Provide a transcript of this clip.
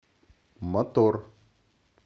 мотор